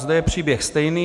Zde je příběh stejný.